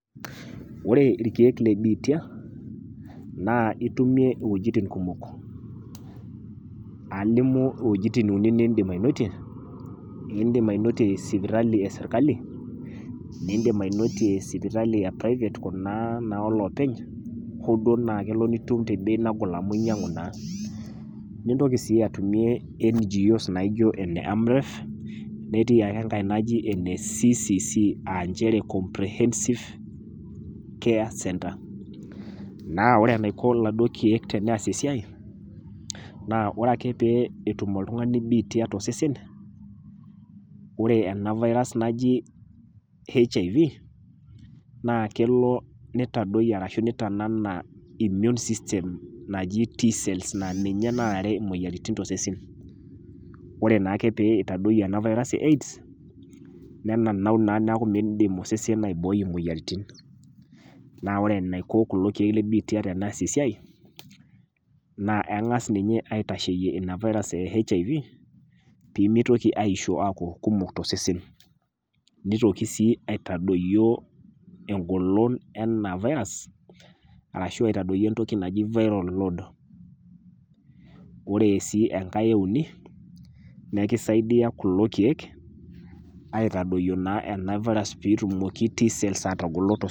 Ore ilkeek le biitia, naa itumie inwuetin kumok, alimu wuejitin uni niindim ainotie. Indim ainotie sipitali e serkali, niindim ainotie sipitali e private Kuna naa o iloopeny, hoo duo naa itum te bei nagol amu inyang'u naa. Nintoki sii atumie NGO's Nena naa e AMREF, netii sii enkai naji ene CCC aa nchere comprehensive care center. Naa ore enaiko laduo keek pee eas esiai, naa ore ake pee etum oltung'ani biitia tiatua osesen, ore ena virus naji HIV, naa kelo neitadoiyo ashu neitanana immune system naji T cells naa ninye naarare imoyaritin to sesen. Ore naa ake pee eitadoiyo ena virus AIDS, ne nanau naa metaa meidim osesen aibooi imoyaritin, naa ore eneiko kulo keek le biitia eneiko pee eas e siai, naa keng'asi ninye aitasheyie Ina virus e HIV, pee meitoki aisho aaku kumok to sesen, neitoki sii aitadoyio engolon ena virus ashu aitadoyio entoki naji viral load. Ore sii enkai e uni, nekisaidia kulo keek aitadoyio ena virus pee etumoki Tcells a.